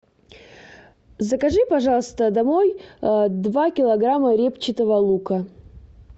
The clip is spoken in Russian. закажи пожалуйста домой два килограмма репчатого лука